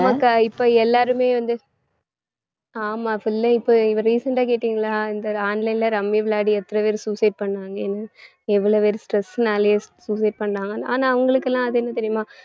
ஆமாக்கா இப்ப எல்லாருமே வந்து ஆமா full ஆ இப்ப recent அ கேட்டிங்களா இந்த online ல ரம்மி விளையாடி எத்தன பேர் suicide பண்ணாங்கன்னு எவ்வளவு பேர் stress னாலயே suicide பண்ணாங்கன்னு ஆனா அவங்களுக்கெல்லாம் அது என்ன தெரியுமா